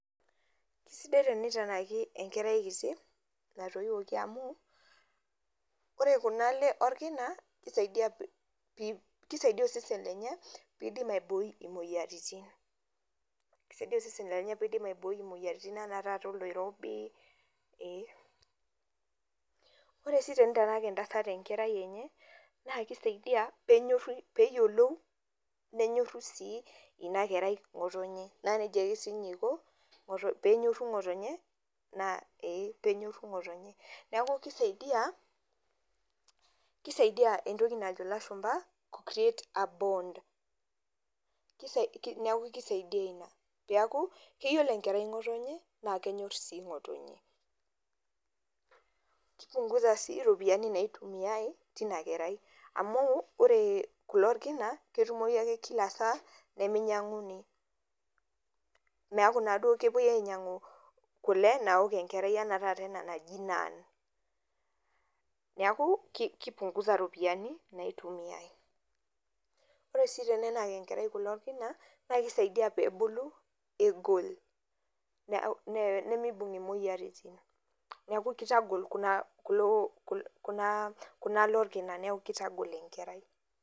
Kesidai tenitanaki enkerai kiti, natoiwuoki amu, ore kunale orkina, kisaidia, kisaidia osesen lenye, pidim aibooi imoyiaritin. Kisaidia osesen lenye pidim aibooi imoyiaritin enaa taata oloirobi, eeh. Ore si tenitanak entasat enkerai enye, na kisaidia penyorru peyiolou nenyorru si inakerai ng'otonye. Na nejia ake sinye iko penyorru ng'otonye, eeh ina penyorru ng'otonye. Neeku kisaidia, kisaidia entoki najo ilashumpa create a bond. Neeku kisaidia ina. Peeku, keyiolo enkerai ng'otonye, na kenyor si ng'otonye. Ki punguza si ropiyiani naitumiai, tinakerai. Amu, ore kule orkina, ketumoyu ake kila saa, niminyang'uni. Meeku naduo kepoi ainyang'u kule naok enkerai enaa taata ena naji nan. Neeku, ki punguza ropiyiani, naitumiai. Ore si tenenak enkerai kule orkina, na kisaidia pebulu egol, nimibung' imoyiaritin. Neku kitagol kunale orkina, neku kitagol enkerai.